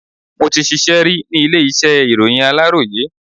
Mo ti ṣíṣe ri ni ilé iṣẹ́ ìròyìn aláròyé.